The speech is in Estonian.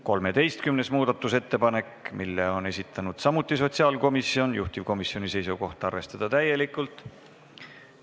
13. muudatusettepaneku on esitanud samuti sotsiaalkomisjon, juhtivkomisjoni seisukoht on arvestada seda täielikult.